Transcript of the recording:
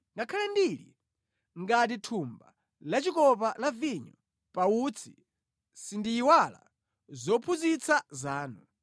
Ngakhale ndili ngati thumba lachikopa la vinyo pa utsi sindiyiwala zophunzitsa zanu.